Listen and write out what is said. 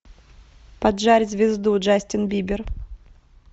поджарь звезду джастин бибер